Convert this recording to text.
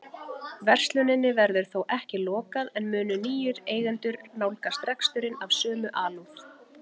Versluninni verður þó ekki lokað en munu nýir eigendur nálgast reksturinn af sömu alúð?